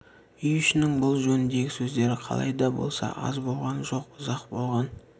үй ішінің бұл жөніндегі сөздері қалай да болса аз болған жоқ ұзақ болған